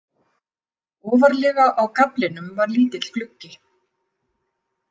Ofarlega á gaflinum var lítill gluggi.